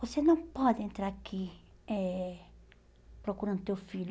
Você não pode entrar aqui eh procurando teu filho.